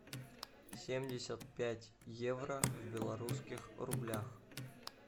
семьдесят пять евро в белорусских рублях